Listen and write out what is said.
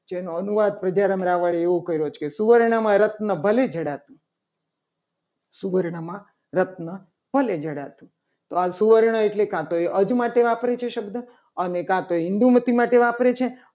જેનો અનુવાદ એવું કરે છે. કે સુવર્ણમાં રત્ન ભલે જણાતું સુવર્ણમાં રત્ન ભલે જણાતું તો આ સુવર્ણ એટલે એ અર્ધ માટે વાપર્યો છે. શબ્દ અને કા તો હિન્દુમતી માટે વાપરે છે.